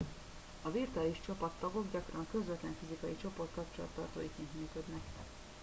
a virtuális csapattagok gyakran a közvetlen fizikai csoport kapcsolattartóiként működnek